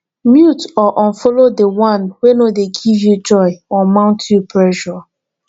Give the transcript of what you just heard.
mute or unfollow di one wey no de give you joy or mount you pressure